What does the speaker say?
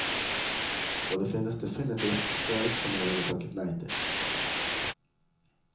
Og det finnes definitivt oppdrag som jeg ville takket nei til.